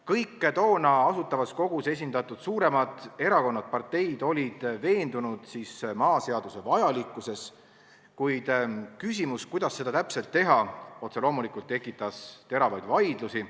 Kõik toona Asutavas Kogus esindatud suuremad erakonnad, parteid olid veendunud maaseaduse vajalikkuses, kuid küsimus, kuidas seda täpselt teha, tekitas otse loomulikult teravaid vaidlusi.